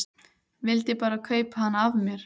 Vildi bara kaupa hana af mér!